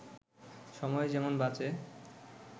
সময় যেমন বাঁচে